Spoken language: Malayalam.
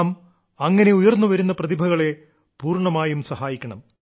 നാം അങ്ങനെ ഉയർന്നുവരുന്ന പ്രതിഭകളെ പൂർണ്ണമായും സഹായിക്കണം